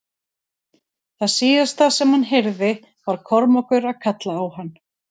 Það síðasta sem hann heyrði var Kormákur að kalla á hann.